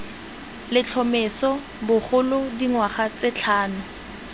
letlhomeso bogolo dingwaga tse tlhano